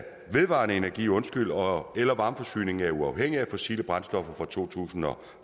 vedvarende energi og varmeforsyningen er uafhængig af fossile brændstoffer fra to tusind og